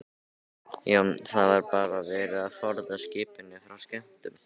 Jón: Það er bara verið að forða skipinu frá skemmdum?